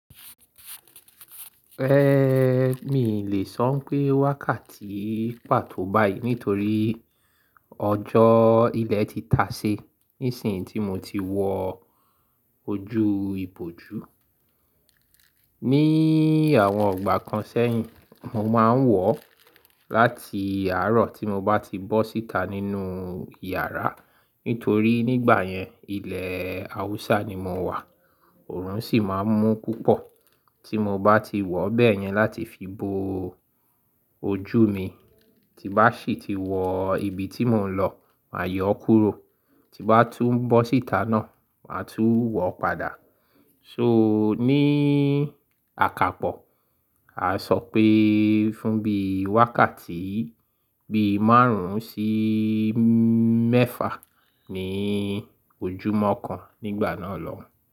Ẹ̀, mii lè sọ n pé wákàtí pàtó báyìí nítorí ọjọ́ ilẹ̀ ti tá sí níṣin tí mo ti wọ ojú ibojú. Ni àwọn igbà kan sẹ́yìn, mo máa ń wọ̀ láti àárọ̀ tí mo bá ti bọ́ síta nínú yàrá. Nítorí nígbà yẹn, ilẹ̀ Haúsá ni mò wà, òòrùn sì máa ń mú púpọ̀. Tí mo bá ti wọ̀ bẹ́yẹn láti fi bo ojú mi, tí bá sì ti wọ ibi tí mò ń lọ, màá yọ kúrò. Tí bá tún bọ́ síta náà, màá tún wọ̀ padà. So ní àkápò, a sọ pé fún bí i wákàtí bí i márùn-ún sí mẹ́fà ní ojúmọ́ kan nígbà náà lọ.